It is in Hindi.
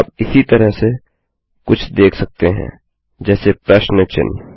आप इसी तरह से कुछ देख सकते हैं जैसे प्रश्न चिन्ह